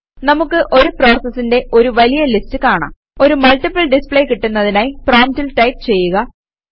നമുക്ക് ഒരു പ്രോസസസിന്റെ ഒരു വലിയ ലിസ്റ്റ് കാണാം ഒരു മൾട്ടിപ്പിൾ ഡിസ്പ്ലേ കിട്ടുന്നതിനായി പ്രോംപ്റ്റിൽ ടൈപ് ചെയ്യുക